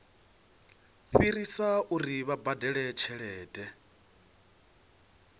fhirisa uri vha badele tshelede